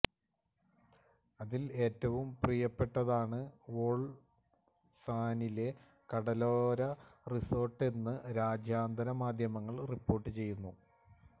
അതില് ഏറ്റവും പ്രിയപ്പെട്ടതാണ് വോള്സാനിലെ കടലോര റിസോര്ട്ടെന്ന് രാജ്യാന്തര മാദ്ധ്യമങ്ങള് റിപ്പോര്ട്ട് ചെയ്യുന്നു